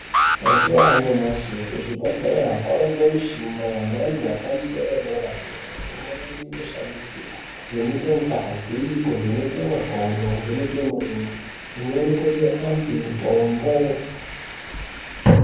Mazuwa anyamashi kuzvibhedhleya kwawa ngemishina yamhando yepamusoro yedera dera imweni inoshanindiswa kuvheneke ngazi, kuvheneke makodo, kuvheneke mirenje imweni kupe antu mitombo.